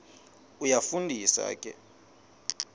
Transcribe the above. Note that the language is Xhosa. iyafu ndisa ke